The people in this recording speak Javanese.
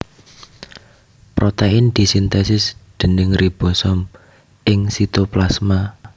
Protein disintesis déning ribosom ing sitoplasma